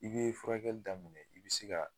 I be furakɛli daminɛ i bi se ka